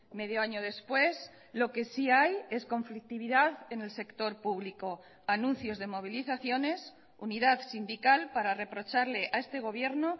medio año después lo que sí hay es conflictividad en el sector público anuncios de movilizaciones unidad sindical para reprocharle a este gobierno